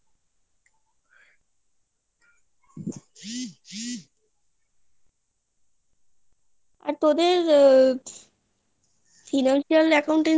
আর তোদের... financial accountancy